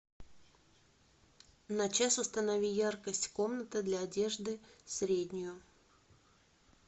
на час установи яркость комната для одежды среднюю